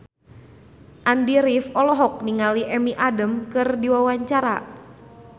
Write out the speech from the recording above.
Andy rif olohok ningali Amy Adams keur diwawancara